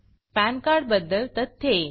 pan card बद्दल तथ्ये